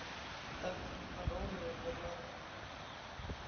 Dagurinn var rólegur hjá lögreglunni